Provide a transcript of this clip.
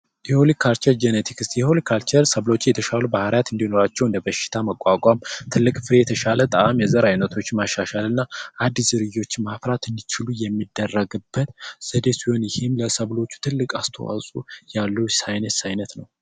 የሆልቲካቸር ጀነቲክስ የሆልቲካልቸር ሰብሎች ጄኔቲክስ የተሻሉ ባህሪያት እንዲኖራቸው እንደ በሽታ መቋቋም ትልቅ የተሻለ ጣዕም የዘር አይነቶች ማሻሻልና አዲስ ዝርያዎችን ማፍራት እንዲችሉ የሚደረጉበት ዘዴ ሲሆን፤ ይህም ለሰብሎቹ ትልቅ አስተዋጽዖ ያለው ሣይንስ ዓይነት ነው።